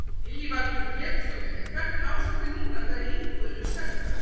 Lillý Valgerður Pétursdóttir: En hvernig ástandið núna þegar íbúðir eru seldar?